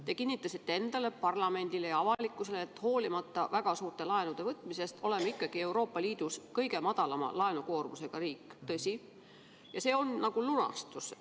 Te kinnitasite endale, parlamendile ja avalikkusele, et hoolimata väga suurte laenude võtmisest oleme ikkagi Euroopa Liidu kõige väiksema laenukoormusega riik – tõsi –, ja see on nagu lunastus.